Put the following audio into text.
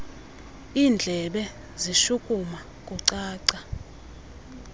indlebe zishukuma kucaca